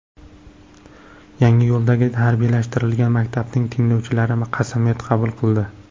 Yangiyo‘ldagi harbiylashtirilgan maktabning tinglovchilari qasamyod qabul qildi .